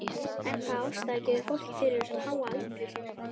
En hvaða ástæða gefur fólkið fyrir þessum háa aldri sínum?